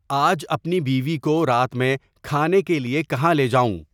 آج اپنی بیوی کو رات میں کھانے کے لیے کہاں لے جاؤں